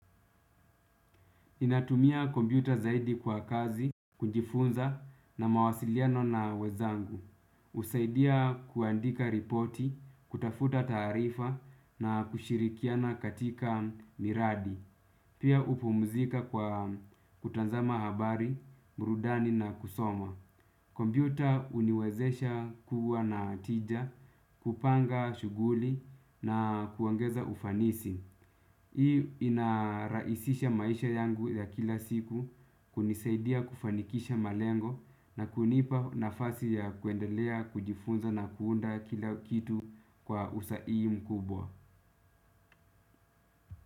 Ninatumia kompyuta zaidi kwa kazi, kujifunza na mawasiliano na wenzangu. Husaidia kuandika ripoti, kutafuta taarifa na kushirikiana katika miradi. Pia hupumuzika kwa kutanzama habari, burudani na kusoma. Kompyuta huniwezesha kuwa na tija, kupanga shuguli na kuongeza ufanisi. Hii inarahisisha maisha yangu ya kila siku, kunisaidia kufanikisha malengo na kunipa nafasi ya kuendelea, kujifunza na kuunda kila kitu kwa usahihi mkubwa.